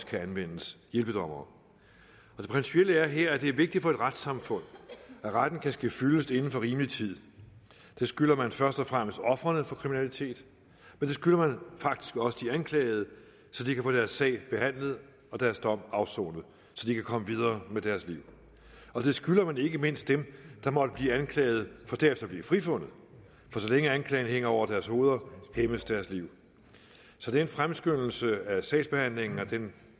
kan anvendes hjælpedommere det principielle er her at det er vigtigt for et retssamfund at retten kan ske fyldest inden for rimelig tid det skylder man først og fremmest ofrene for kriminalitet men det skylder man faktisk også de anklagede så de kan få deres sag behandlet og deres dom afsonet så de kan komme videre med deres liv og det skylder man ikke mindst dem der måtte blive anklaget for derefter at blive frifundet for så længe anklagen hænger over deres hoveder hæmmes deres liv så den fremskyndelse af sagsbehandlingen og den